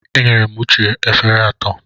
Enyere m Uche efere atọ.